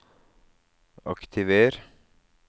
aktiver